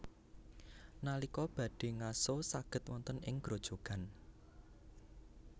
Nalika badhé ngaso saged wonten ing grojogan